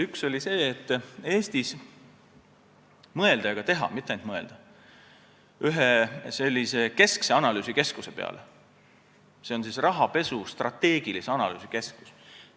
Üks on see, et Eestis võiks mõelda – ja seda ka teha, mitte ainult mõelda – ühe keskse analüüsikeskuse peale, rahapesu strateegilise analüüsi keskuse peale.